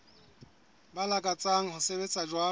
ba lakatsang ho sebetsa jwalo